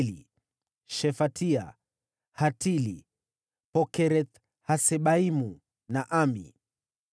wazao wa Shefatia, Hatili, Pokereth-Hasebaimu na Ami.